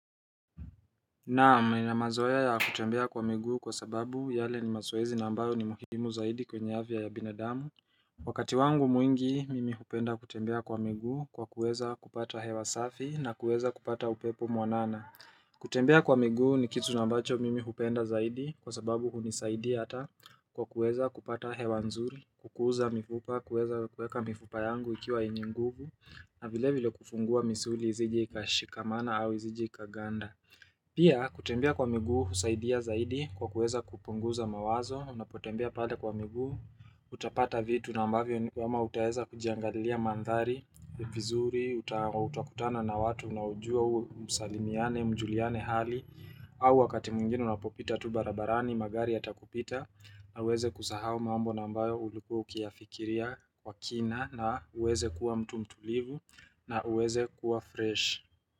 Naam, ninamazoea ya kutembea kwa miguu kwa sababu yale ni mazoezi na ambayo ni muhimu zaidi kwenye afya ya binadamu. Wakati wangu mwingi, mimi hupenda kutembea kwa migu kwa kuweza kupata hewa safi na kuweza kupata upepo mwanana. Kutembea kwa migu ni kitu ambacho mimi hupenda zaidi kwa sababu huni saidi hata kwa kuweza kupata hewa nzuri, kukuza mifupa, kuweza kuweka mifupa yangu ikiwa yenye nguvu na vile vile kufungua misuli isije ikashikamana au isije ikaganda Pia, kutembea kwa miguu, husaidia zaidi kwa kuweza kupunguza mawazo Unapotembea pale kwa miguu, utapata vitu nambavyo ni kama utaweza kujiangalilia mandhari vizuri, utakutana na watu unajua msalimiane, mjuliane hali au wakati mwingine unapopita tu barabarani, magari yatakupita na uweze kusahau mambo nambayo ulikuwa ukiyafikiria kwa kina na uweze kuwa mtu mtulivu na uweze kuwa fresh.